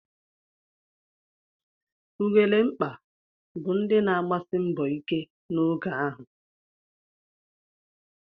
Ugelemkpa bụ ndị na-agbasi mbọ ike n'oge ahụ.